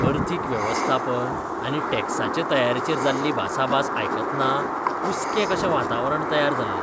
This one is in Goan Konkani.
अर्थीक वेवस्थापन आनी टॅक्साचे तयारेचेर जाल्ली भासाभास आयकतना कुसकें कशें वातावरण तयार जालें.